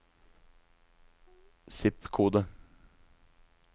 zip-kode